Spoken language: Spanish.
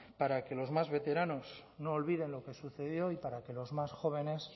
para que los más veteranos no olviden lo que sucedió y para que los más jóvenes